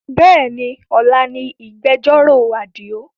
Bẹ́ẹ̀ni, ọ̀la ni ìgbẹ̀jọ́rò Àdìó